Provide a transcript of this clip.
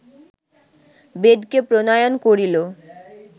বেদ কে প্রণয়ন করিল